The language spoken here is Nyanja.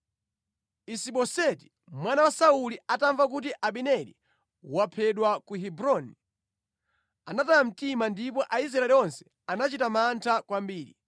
Isiboseti mwana wa Sauli atamva kuti Abineri waphedwa ku Hebroni, anataya mtima ndipo Aisraeli onse anachita mantha kwambiri.